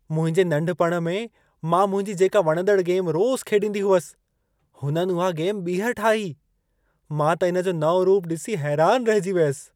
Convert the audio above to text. मुंहिंजे नंढपण में मां मुंहिंजी जेका वणंदड़ गेम रोज़ु खेॾींदी हुअसि, हुननि उहा गेम ॿीहर ठाही। मां त इन जो नओं रूप ॾिसी हैरान रहिजी वियसि।